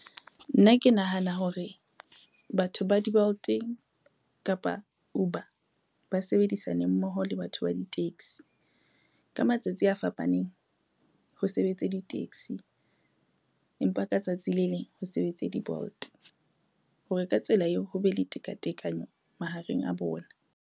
Nna ke nahana hore batho ba di-Bolt eng kapa Uber ba sebedisane mmoho le batho ba di-taxi. Ka matsatsi a fapaneng ho sebetse di-taxi, empa ka tsatsi le leng ho sebetse di-Bolt hore ka tsela eo ho be le tekatekano mahareng a bona.